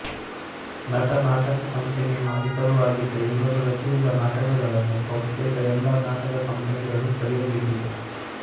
ನಟ ನಾಟಕ ಕಂಪನಿಯ ಮಾಲೀಕರು ಆಗಿದ್ದ ಇವರು ರಚಿಸಿದ ನಾಟಕಗಳನ್ನು ಬಹುತೇಕ ಎಲ್ಲ ನಾಟಕ ಕಂಪೆನಿಗಳೂ ಪ್ರಯೋಗಿಸಿವೆ